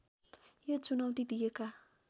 यो चुनौती दिएका